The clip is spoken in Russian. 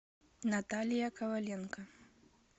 наталья коваленко